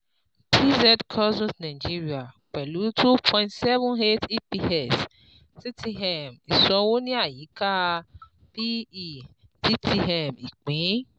PZ Cussons Nigeria, pẹlu two point seven eight EPS TTM iṣowo ni ayika P / E TTM ipin